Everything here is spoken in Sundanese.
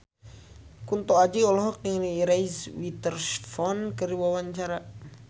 Kunto Aji olohok ningali Reese Witherspoon keur diwawancara